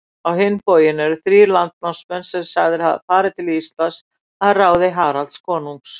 Á hinn bóginn eru þrír landnámsmenn sagðir hafa farið til Íslands að ráði Haralds konungs.